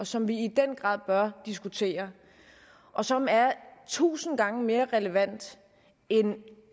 som vi i den grad bør diskutere og som er tusind gange mere relevante end